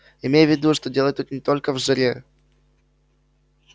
имей в виду что дело тут не только в жаре